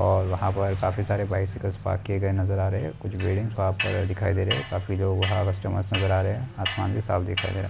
और वहा पर काफी सारे बायसीकल पार्क किए गए नजर आ रहे है कुछ बिल्डींग्स वहा पर दिखाई दे रहे है काफी लोग कस्टमर नजर हा रहे है आसमान भी साफ दिखाई दे रहा है।